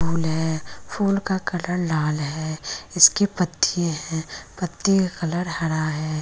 फूल है फूल का कलर लाल है इसके पत्ती है पत्ती का कलर हरा है।